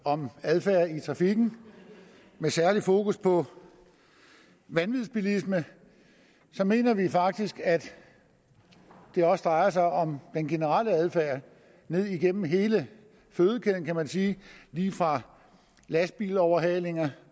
om adfærd i trafikken med særlig fokus på vanvidsbilisme så mener vi faktisk at det også drejer sig om den generelle adfærd ned igennem hele fødekæden kan man sige lige fra lastbiloverhalinger